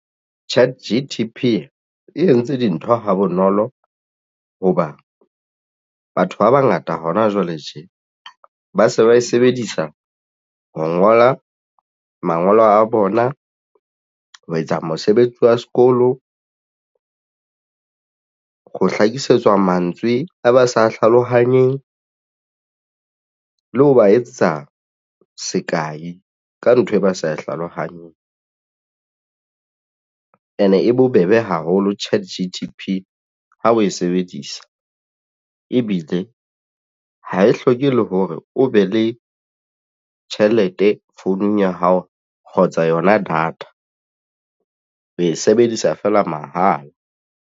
ChatGTP e entse dintho ha bonolo hoba batho ba bangata hona jwale tje ba se ba e sebedisa ho ngola mangolo a bona ho etsa mosebetsi wa sekolo ho hlakisetsa mantswe a ba sa hlalohanyeng le ho ba etsetsa sekae ka ntho e ba sa hlalohanyeng. And e bobebe haholo ChatGTP ha o e sebedisa ebile ha e hloke le hore o be le tjhelete founung ya hao kgotsa yona data o o e sebedisa fela mahala.